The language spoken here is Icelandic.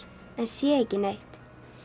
en sé ekki neitt